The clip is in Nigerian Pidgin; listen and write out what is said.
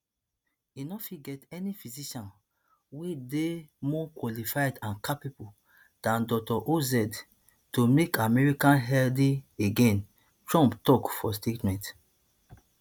e no fit get any physician wey dey more qualified and capable dan dr oz to make america healthy again trump tok for statement